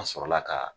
An sɔrɔla ka